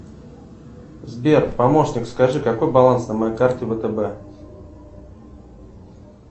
сбер помощник скажи какой баланс на моей карте втб